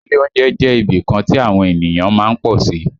Ilé oúnjẹ jẹ́ ibìkan tí àwọn ènìyàn má ń pọ̀ sí